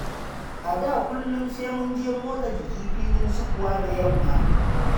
A da kullum sai munje motsa jiki filin sukuwa da yamma.